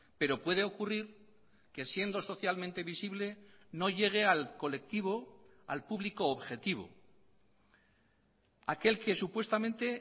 pero puede ocurrir que siendo socialmente visible no llegue al colectivo al público objetivo aquel que supuestamente